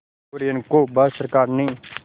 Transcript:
कुरियन को भारत सरकार ने